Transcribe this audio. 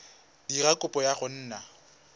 dira kopo ya go nna